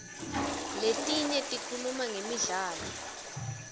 letinye tikhuluma ngemidlalo